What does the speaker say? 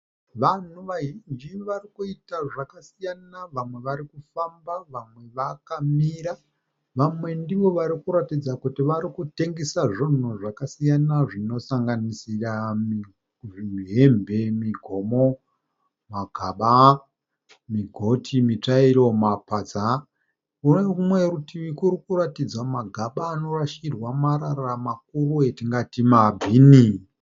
Vanhu vazhinji vari kuita zvakasiyana. Vamwe vari kufamba vamwe vakamira. Vamwe ndivo varikuratidza kuti vari kitengesa zvinhu zvinosangasira hembe, migomo, magaba, migoti, mitsvairo, mapadza. Kune rumwe rutivi kuri kuratidza magaba anorashirwa marara makuru atingati mabhini.